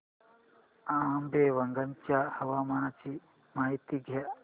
आंबेवंगन च्या हवामानाची माहिती द्या